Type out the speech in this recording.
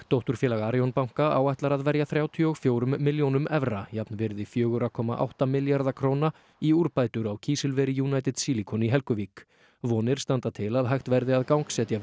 dótturfélag Arion banka áætlar að verja þrjátíu og fjórum milljónum evra jafnvirði fjóra komma átta milljarða króna í úrbætur á kísilveri United Silicon í Helguvík vonir standa til að hægt verði að gangsetja